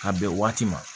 Ka bɛn waati ma